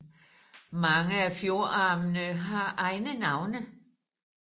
Mange af fjordarmene har egne navne